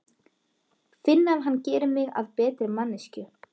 Finn að hann gerir mig að betri manneskju.